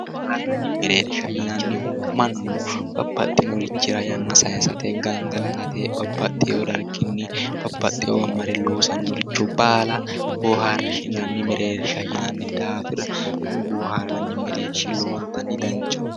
Booharranni mereersha yinannihu Mannu babbaxitinorichira yanna sayiisate gangalatate babbaxxeyo darginni babbaxxeyiiwa mare loosannoricho baala booharranni meereersha yinanni daafira kuni bohaarranni mereershi lowontanni danchaho